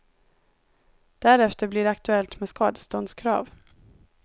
Därefter blir det aktuellt med skadeståndskrav.